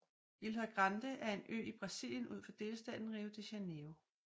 Ilha Grande er en ø i Brasilien ud for delstaten Rio de Janeiro